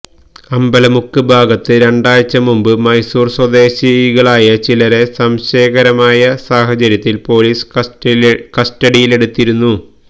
അമ്പലമുക്ക് ഭാഗത്ത് രണ്ടാഴ്ചമുമ്പ് മൈസൂർ സ്വദേശികളായ ചിലരെ സംശയ കരമായ സാഹചര്യത്തിൽ പോലീസ് കസ്റ്റഡിയിലെടുത്തിരുന്നു